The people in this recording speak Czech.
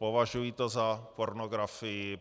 Považuji to za pornografii.